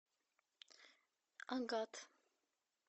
агат